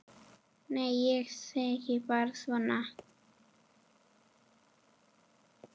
Nei, ég segi bara svona.